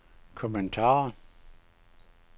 kommentar